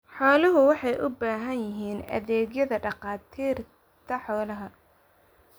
Xooluhu waxay u baahan yihiin adeegyada dhakhaatiirta xoolaha.